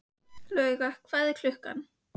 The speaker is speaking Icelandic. Lauga, hvað er klukkan?